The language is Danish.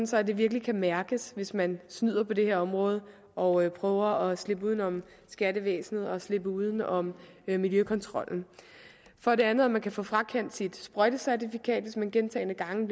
så det virkelig kan mærkes hvis man snyder på det her område og prøver at slippe uden om skattevæsenet og slippe uden om miljøkontrollen for det andet at man kan få frakendt sit sprøjtecertifikat hvis man gentagne gange